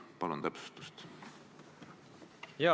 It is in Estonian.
Palun täpsustust!